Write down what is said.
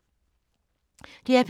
DR P2